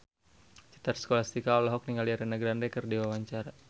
Citra Scholastika olohok ningali Ariana Grande keur diwawancara